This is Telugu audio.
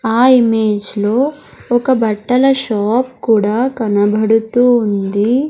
ఆ ఇమేజ్ లో ఒక బట్టల షాప్ కూడా కనబడుతూ ఉంది.